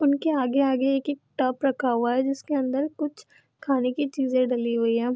उनके आगे-आगे एक-एक टब रखा हुआ है जिसके अंदर कुछ खाने की चीजे डली हुई है।